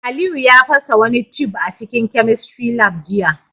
Aliyu ya fasa wani tube a cikin chemistry lab jiya